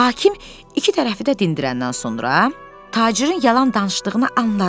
Hakim iki tərəfi də dindirəndən sonra tacirin yalan danışdığını anladı.